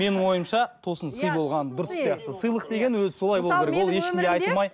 менің ойымша тосын сый болған дұрыс сияқты